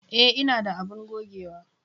E, ina da abun gogewa.